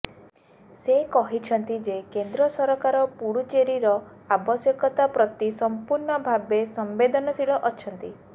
ସେ କହିଛନ୍ତି ଯେ କେନ୍ଦ୍ର ସରକାର ପୁଡୁଚେରୀର ଆବଶ୍ୟକତା ପ୍ରତି ସମ୍ପୂର୍ଣ୍ଣ ଭାବେ ସମ୍ବେଦନଶୀଳ ଅଛନ୍ତି